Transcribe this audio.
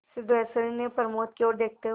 सिद्धेश्वरी ने प्रमोद की ओर देखते हुए